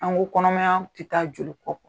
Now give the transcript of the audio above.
An ko kɔnɔmaya tɛ taa joli kɔ,